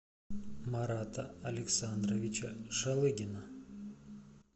марата александровича шалыгина